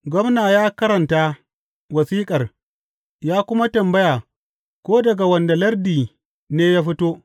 Gwamna ya karanta wasiƙar ya kuma tambaya ko daga wanda lardi ne ya fito.